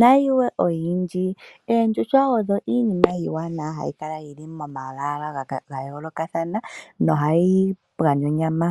nayilwe oyindji. Oondjuhwa odho iinima iiwanawa hayi kala yili moma lwaala ga yoolokathana nohayi gandja onyama.